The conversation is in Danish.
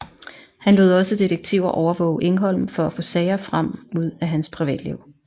Han lod også detektiver overvåge Engholm for at få sager frem ud af hans privatliv